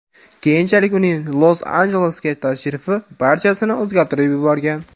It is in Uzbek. Keyinchalik uning Los-Anjelesga tashrifi barchasini o‘zgartirib yuborgan.